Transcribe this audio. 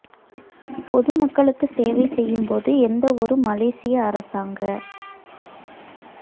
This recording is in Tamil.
பொது மக்களுக்கு சேவை செய்யும் போது எந்த ஒரு மலேசிய அரசாங்க